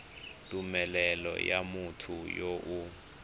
tumelelo ya motho yo o